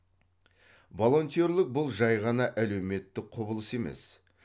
волонтерлік бұл жай ғана әлеуметтік құбылыс емес